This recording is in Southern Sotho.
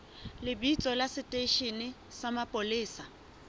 lebitso la seteishene sa mapolesa